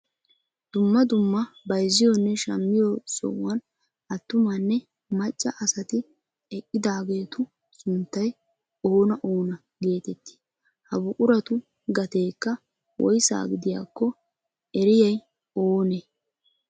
Dumma dumma bayzziyoonne shammiyo sohuwaan attumanne macca asati eqqidaageetu sunttay oona oona geetettii? ha buquratu gateekka woysa gidiyaakko eriyaay oonee?